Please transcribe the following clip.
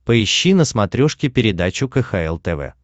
поищи на смотрешке передачу кхл тв